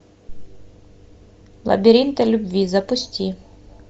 лабиринты любви запусти